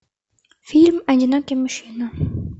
фильм одинокий мужчина